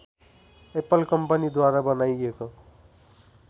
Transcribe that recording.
Apple company द्वारा बनाइएको